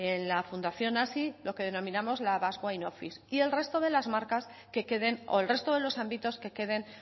en la fundación hazi lo que denominamos la basque wine office y el resto de los ámbitos que queden